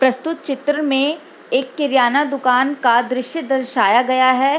प्रस्तुत चित्र में एक किराना दुकान का दृश्य दर्शाया गया है।